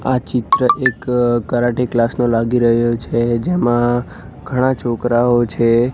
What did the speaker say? આ ચિત્ર એક કરાટે ક્લાસ નો લાગી રહ્યો છે જેમાં ઘણા છોકરાઓ છે.